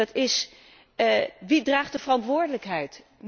Dat is wie draagt de verantwoordelijkheid?